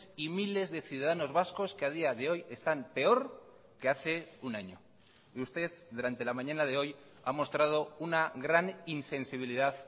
y miles de ciudadanos vascos que a día de hoy están peor que hace un año y usted durante la mañana de hoy ha mostrado una gran insensibilidad